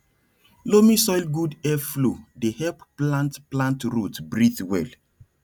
loamy soil good air flow dey help plant plant root breathe well